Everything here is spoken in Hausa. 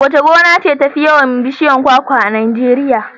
Wace gona ce tafi yawan bishiyar kwakwa a Najeriya?